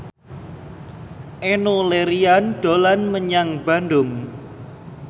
Enno Lerian dolan menyang Bandung